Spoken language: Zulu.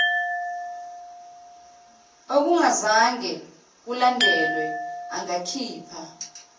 okungazange kulandelwe angakhipha